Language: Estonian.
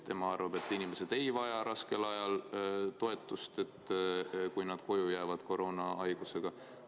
Tema arvab, et inimesed ei vaja raskel ajal toetust, kui nad koroonahaigusega koju jäävad.